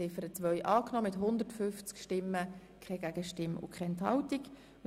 Sie haben die Ziffer 2 einstimmig angenommen.